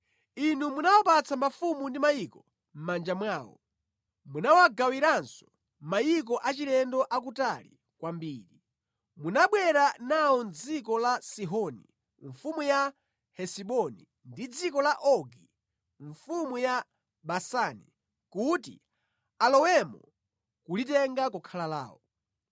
“Inu munawapatsa mafumu ndi mayiko mʼmanja mwawo. Munawagawiranso mayiko achilendo akutali kwambiri. Munabwera nawo mʼdziko la Sihoni mfumu ya Hesiboni ndi dziko la Ogi mfumu ya Basani kuti alowemo nʼkulitenga kukhala lawo.